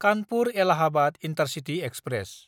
कानपुर–एलाहाबाद intercity express